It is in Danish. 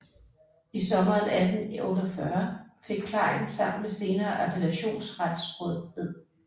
I sommeren 1848 fik Klein sammen med senere appellationsretsråd Ed